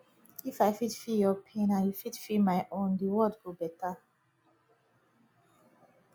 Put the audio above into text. if i fit feel yur pain and yu fit feel my own de world go beta